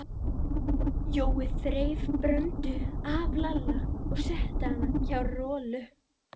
Jói þreif Bröndu af Lalla og setti hana hjá Rolu.